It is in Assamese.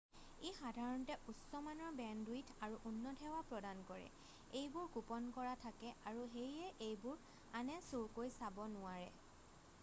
ই সাধাৰণতে উচ্চমানৰ বেণ্ডউইথ আৰু উন্নত সেৱা প্ৰদান কৰে এইবোৰ গোপন কৰা থাকে আৰু সেয়ে এইবোৰ আনে চুৰকৈ চাব নোৱাৰে